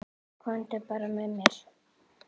Komdu bara með mér.